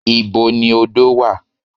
Ìbo ni odo wà?